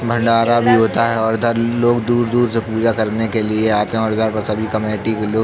भंडारा भी होता है और इधर लोग दूर-दूर से पूजा करने के लिए आते हैं और इधर पर सभी कमिटी के लोग --